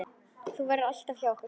Þú verður alltaf hjá okkur.